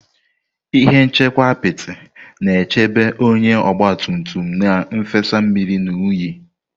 Ihe nchekwa apiti na-echebe onye ogba tum tum na nfesa mmiri na unyi.